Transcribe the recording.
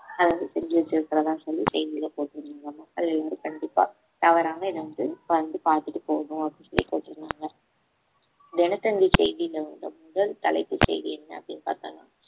அதை வந்து செஞ்சு வச்சிருக்கிறதா சொல்லி செய்தியிலே போட்டுருந்தாங்க மக்கள் எல்லாரும் கண்டிப்பா தவறாம இதை வந்து வந்து பார்த்துட்டு போகணும் அப்படின்னு சொல்லி போட்டிருந்தாங்க தினத்தந்தி செய்தியில வந்த முதல் தலைப்பு செய்தி என்ன அப்படின்னு பாத்தோம்னா